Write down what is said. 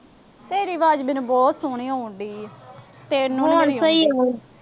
ਤੇਰੀ ਆਵਾਜ ਮੈਨੂੰ ਬਹੁਤ ਸੋਹਣੀ ਆਉਣ ਡਈ।